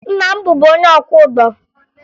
Nna m bụbu onye ọkwọụgbọ